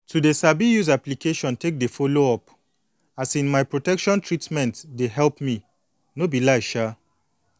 to sabi use application take dey follow up um my protection treatment dey help me no be lie um